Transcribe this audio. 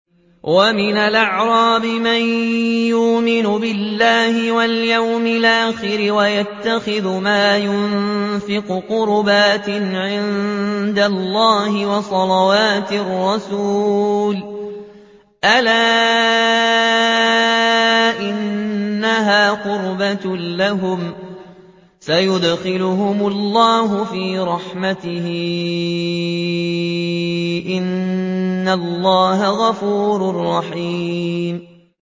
وَمِنَ الْأَعْرَابِ مَن يُؤْمِنُ بِاللَّهِ وَالْيَوْمِ الْآخِرِ وَيَتَّخِذُ مَا يُنفِقُ قُرُبَاتٍ عِندَ اللَّهِ وَصَلَوَاتِ الرَّسُولِ ۚ أَلَا إِنَّهَا قُرْبَةٌ لَّهُمْ ۚ سَيُدْخِلُهُمُ اللَّهُ فِي رَحْمَتِهِ ۗ إِنَّ اللَّهَ غَفُورٌ رَّحِيمٌ